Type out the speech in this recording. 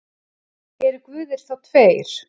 Eru guðir þá tveir?